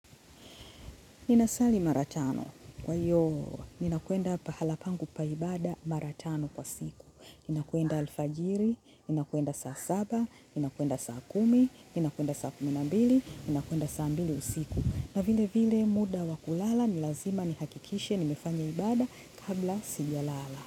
Ninasali mara tano. Kwa hiyo, ninakwenda pahala pangu pa ibada mara tano kwa siku. Ninakwenda alfajiri, ninakwenda saa saba, ninakwenda saa kumi, ninakwenda saa kumi na mbili, ninakwenda saa mbili usiku. Na vilevile muda wa kulala, ni lazima nihakikishe, nimefanya ibada kabla sijalala.